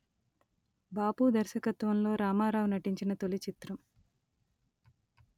బాపు దర్శకత్వంలో రామారావు నటించిన తొలి చిత్రం